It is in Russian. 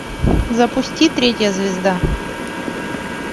запусти третья звезда